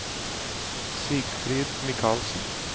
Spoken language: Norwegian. Sigfrid Michaelsen